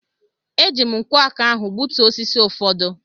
E ji m nkwọ aka ahụ gbutuo osisi ụfọdụ.